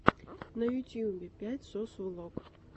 на ютюбе пять сос влог